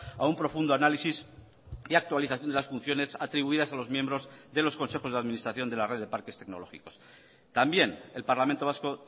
a un profundo análisis y actualización de las funciones atribuidas a los miembros de los consejos de administración de la red de parques tecnológicos también el parlamento vasco